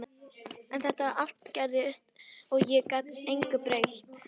En allt þetta gerðist og ég gat engu breytt.